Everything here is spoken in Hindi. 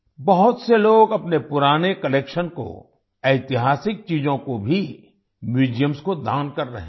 बहुत से लोग अपने पुराने कलेक्शन को ऐतिहासिक चीज़ों को भी म्यूजियम्स को दान कर रहे हैं